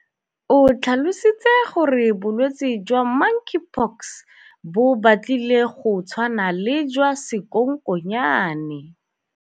O tlhalositse gore Bolwetse jwa Monkeypox bo batlile go tshwana le jwa sekonkonyane.